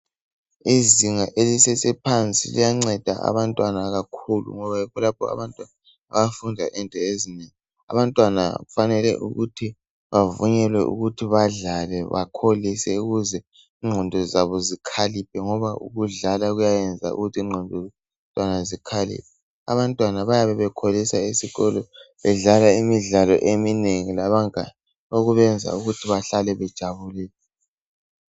Izinga elisesephansi liyanceda abantwana kakhulu ngoba yikho lapho abantwana abafunda khona izifundo ezinengi abantwana kufanele bavunyelwe ukuthi badlale bakholuse ukuze ingqondo zabo zikhaliphe ngoba ukudlala kuyayenza ukuthi ingqondo zikhaliphe abantwana bayabe bekholisa esikolo bedlala imidlalo eminengi labangani okubenza ukuthi bahlale bejabulile.